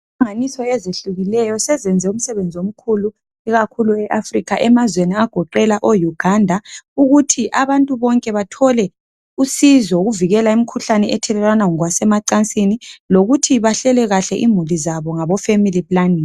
Inhlanganiso ezihlukileyo seziyenze umsebenzi omkhulu ikakhulu eAfrica emazweni agoqela Uganda ukuthi abantu bonke bathole usizo ukuvikela imkhuhlane ethelelwana ngokwasemacansini lokuthi bahlele kuhle imuli zabo ngabo Family Planning .